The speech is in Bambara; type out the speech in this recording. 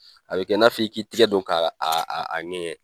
A bɛ kɛ n'a fɔ' i k'i tigɛ don k' a a a ŋɛɲɛ.